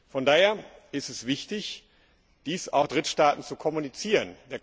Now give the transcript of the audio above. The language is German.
Von daher ist es wichtig, dies auch Drittstaaten zu kommunizieren.